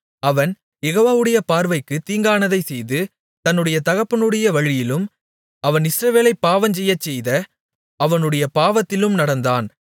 அவன் யெகோவாவுடைய பார்வைக்குத் தீங்கானதைச் செய்து தன்னுடைய தகப்பனுடைய வழியிலும் அவன் இஸ்ரவேலைப் பாவஞ்செய்யச்செய்த அவனுடைய பாவத்திலும் நடந்தான்